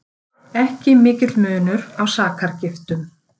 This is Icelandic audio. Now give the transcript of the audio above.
Ekki mikill munur á sakargiftum